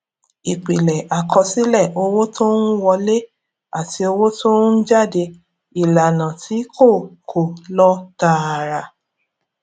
ìpìlẹ àkọsílẹ owó tó ń wọlé àti owó tó ń jáde ìlànà tí kò kò lọ tààrà